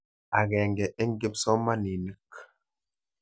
Akenge eng' kipsomaninik.